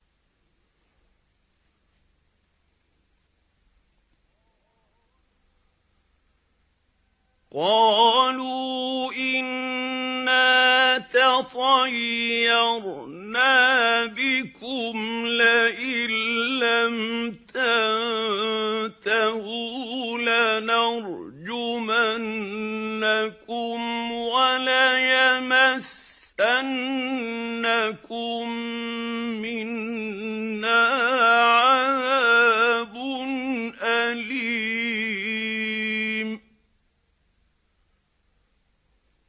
قَالُوا إِنَّا تَطَيَّرْنَا بِكُمْ ۖ لَئِن لَّمْ تَنتَهُوا لَنَرْجُمَنَّكُمْ وَلَيَمَسَّنَّكُم مِّنَّا عَذَابٌ أَلِيمٌ